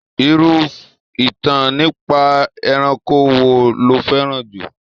Irú ìtàn nípa ẹranko wo lo fẹ́ràn jù lọ?